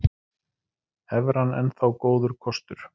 Evran enn þá góður kostur